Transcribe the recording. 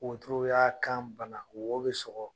Wotoro y'a kan bana, wo bi sɔgɔ.